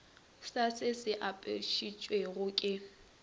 sa se se apešitšwego ka